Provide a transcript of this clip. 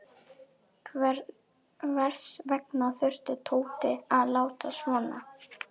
Hvers vegna þurfti Tóti að láta svona.